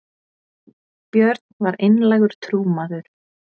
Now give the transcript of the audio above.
björn var einlægur trúmaður